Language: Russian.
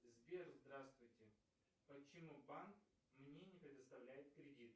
сбер здравствуйте почему банк мне не предоставляет кредит